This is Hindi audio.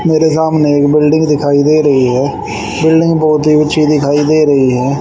मेरे सामने एक बिल्डिंग दिखाई दे रही है। बिल्डिंग बहुत ही अच्छी दिखाई दे रही है।